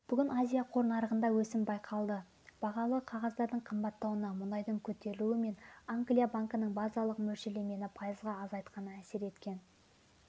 бүгін азия қор нарығында өсім байқалды бағалы қағаздардың қымбаттауына мұнайдың көтерілуі мен англия банкінің базалық мөлшерлемені пайызға азайтқаны әсер еткен